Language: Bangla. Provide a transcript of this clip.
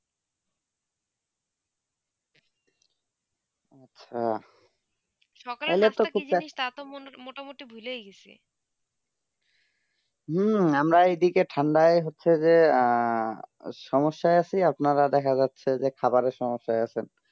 হম আমরা এদিকে ঠান্ডাই হচ্ছে গিয়ে অ্যাঁ সমস্যায় আছি আপনারা দেখা যাচ্ছে খাবারের সমস্যায় আছেন